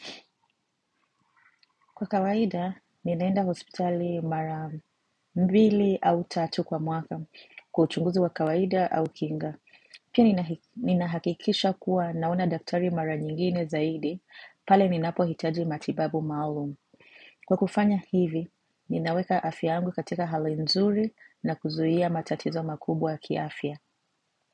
Kwa kawaida, ninaenda hospitali mara mbili au tatu kwa mwaka kwa uchunguzi wa kawaida au kinga. Pia ninahakikisha kuwa naona daktari mara nyingine zaidi, pale ninapo hitaji matibabu maalum. Kwa kufanya hivi, ninaweka afya yangu katika hali nzuri na kuzuhia matatizo makubwa ya kiafya.